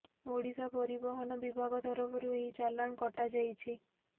ଓଡ଼ିଶା ପରିବହନ ବିଭାଗ ତରଫରୁ ଏହି ଚାଲାଣ କଟା ଯାଇଛି